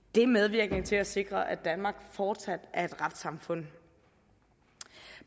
det er medvirkende til at sikre at danmark fortsat er et retssamfund